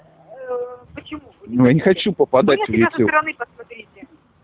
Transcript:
ээ почему ну я не хочу попадать в ютуб стороны посмотрите